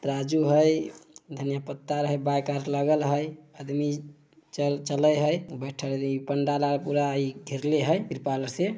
तराजू है धनिया पत्ता है आदमी चले है पंडाल आर पूरा घेरले हैं त्रिपाल आर से।